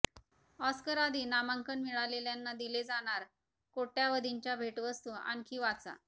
ऑस्करआधी नामांकन मिळालेल्यांना दिले जाणार कोट्यावधींच्या भेटवस्तू आणखी वाचा